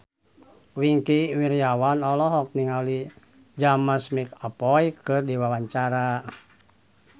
Wingky Wiryawan olohok ningali James McAvoy keur diwawancara